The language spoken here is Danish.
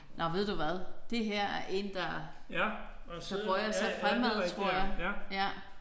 Nåh ved du hvad det her er en der der bøjer sig fremad tror jeg